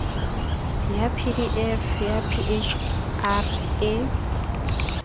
ya pdf ya phr e